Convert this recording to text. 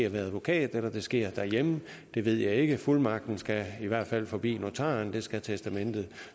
en advokat eller det sker derhjemme ved jeg ikke fuldmagten skal i hvert fald forbi notaren og det skal testamentet